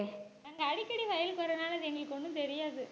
அடிக்கடி வயலுக்கு வரதுனால அது எங்களுக்கு ஒண்ணும் தெரியாது.